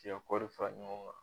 K'i ya kɔri fara ɲɔgɔn kan.